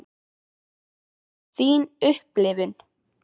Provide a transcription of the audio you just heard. Hver er þín upplifun?